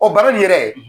O baara nin yɛrɛ